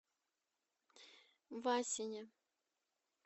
васине